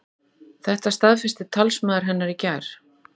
Þetta staðfesti talsmaður hennar í gær